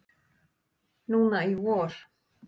Núna í vor.